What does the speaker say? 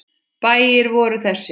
Bæir voru þessir